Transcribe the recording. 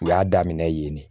U y'a daminɛ yen ne